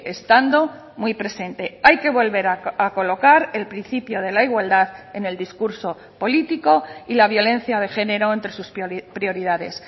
estando muy presente hay que volver a colocar el principio de la igualdad en el discurso político y la violencia de género entre sus prioridades